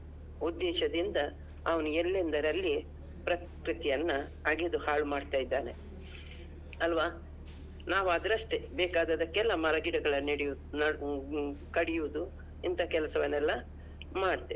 ಉದ್ದೇಶದಿಂದ ಅವನು ಎಲ್ಲೆಂದರಲ್ಲಿ ಪ್ರಕೃತಿಯನ್ನಾ ಅಗಿದು ಹಾಳ್ಮಾಡ್ತಾ ಇದ್ದಾನೆ. ಅಲ್ವಾ? ನಾವು ಅದ್ರಷ್ಟೇ ಬೇಕಾದದ್ದಕ್ಕೆಲ್ಲ ಮರಗಿಡಗಳನ್ನು ನೆಡೆಯು~ ಕಡಿಯುದು ಇಂಥ ಕೆಲಸವನ್ನೆಲ್ಲಾ ಮಾಡ್ತೇವೆ.